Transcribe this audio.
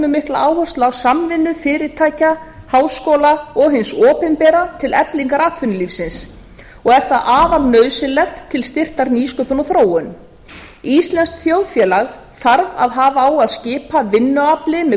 mikla áherslu á samvinnu fyrirtækja háskóla og hin opinbera til eflingar atvinnulífinu og er það afar nauðsynlegt til styrktar nýsköpun og þróun íslenskt þjóðfélag þarf að hafa á að skipa vinnuafli með